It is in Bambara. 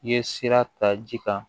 I ye sira ta ji kan